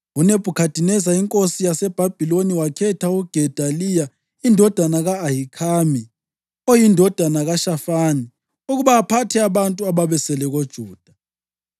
UNebhukhadineza inkosi yaseBhabhiloni wakhetha uGedaliya indodana ka-Ahikhami, oyindodana kaShafani, ukuba aphathe abantu ababesele koJuda.